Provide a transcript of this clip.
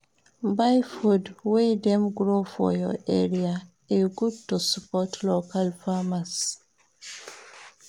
Buy food wey dem grow for your area, e good to support local farmers.